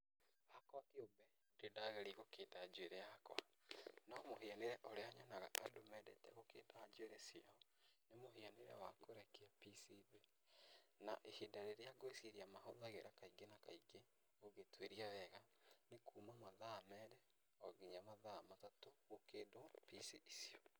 Hakwa kĩũmbe ndirĩ ndageria gũkinda njuĩrĩ yakwa no mũhianĩre ũrĩa nyonaga andũ mendete gũkinda njuĩrĩ ciao, nĩ mũhianĩre wa kũrekia pici thĩ, na ihinda rĩrĩa ngwĩciria mahũthagĩra kaingĩ na kaingĩ ũngĩtuĩria wega, nĩ kuma mathaa merĩ onginya mathaa matatũ gũkindwo pici icio.